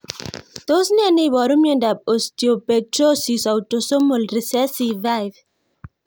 Tos ne neiparu miondop Osteopetrosis autosomal recessive 5?